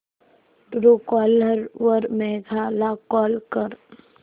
Truecaller वर मेघा ला call कर